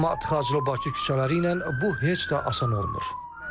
Amma tıxaclı Bakı küçələri ilə bu heç də asan olmur.